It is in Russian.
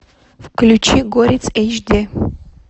включи горец эйч ди